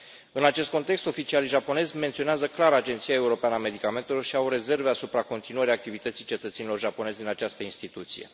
În acest context, oficialii japonezi menționează clar Agenția Europeană a Medicamentelor și au rezerve asupra continuării activității cetățenilor japonezi în această instituție.